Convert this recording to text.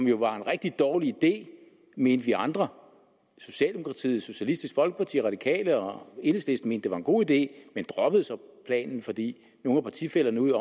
jo en rigtig dårlig idé mente vi andre socialdemokratiet socialistisk folkeparti radikale og enhedslisten mente var en god idé men droppede så planen fordi nogle af partifællerne ude